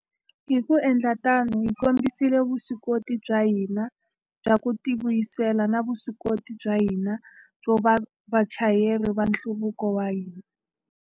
Hi ku endla tano, hi kombisile vuswikoti bya hina bya ku tivuyisela na vuswikoti bya hina byo va vachayeri va nhluvuko wa hina.